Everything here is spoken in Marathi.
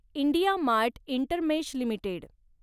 IndiaMART InterMesh limited